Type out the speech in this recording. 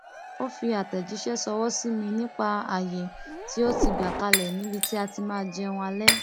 ó fi àtẹjíṣẹ ṣọwọ sí mi nípa àayè tí ó ti gbà kalẹ níbi tí a ti máa jẹun alẹ